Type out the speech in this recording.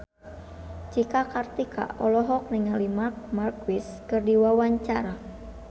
Cika Kartika olohok ningali Marc Marquez keur diwawancara